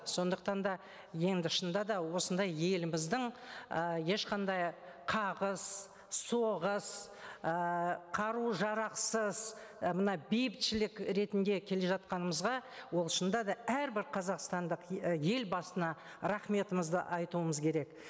сондықтан да енді шынында да осындай еліміздің ы ешқандай қағыс соғыс ыыы қару жарақсыз і мына бейбітшілік ретінде келе жатқанымызға ол шынында да әрбір қазақстандық і елбасына рахметімізді айтуымыз керек